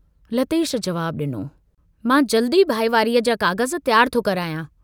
लतेश जवाब डिनो, "मां जल्दु ई भाईवारीअ जा काग़ज़ तियारु थो करायां।